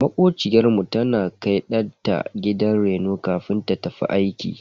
Makociyar mu tana kai danta gidan reno kafin ta tafi aiki.